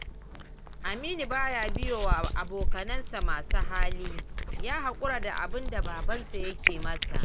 Aminu ba ya biyewa abokansa masu hali, ya haƙura da abinda babansa yake masa.